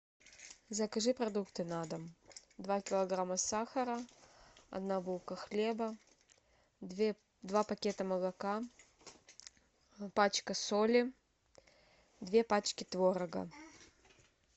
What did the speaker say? закажи продукты на дом два килограмма сахара одна булка хлеба два пакета молока пачка соли две пачки творога